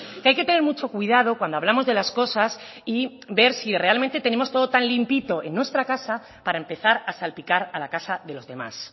que hay que tener mucho cuidado cuando hablamos de las cosas y ver si realmente tenemos todo tan limpito en nuestra casa para empezar a salpicar a la casa de los demás